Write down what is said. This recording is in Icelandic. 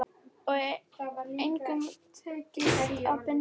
Og engum tekist að binda hann.